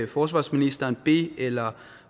forsvarsministeren be eller